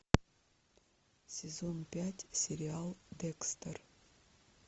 сезон пять сериал декстер